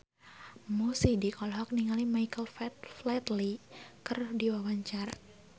Mo Sidik olohok ningali Michael Flatley keur diwawancara